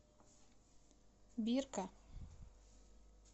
бирка